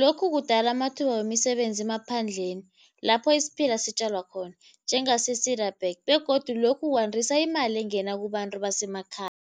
Lokhu kudala amathuba wemisebenzi emaphandleni, lapho isiphila sitjalwa khona njengase begodu lokhu kwandisa imali engena kubantu basemakhaya.